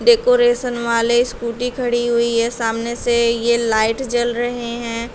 Decoration वाले scooty खड़ी हुई है सामने से ये लाइट जल रहे हैं।